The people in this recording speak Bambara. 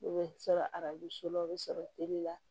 U bɛ sɔrɔ arajo so la o bɛ sɔrɔ teli la